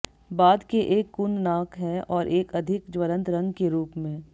बाद के एक कुंद नाक है और एक अधिक ज्वलंत रंग के रूप में